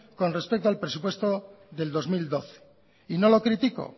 con respecto al presupuestos del dos mil doce no lo critico